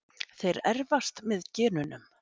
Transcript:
Þeir erfast með genunum.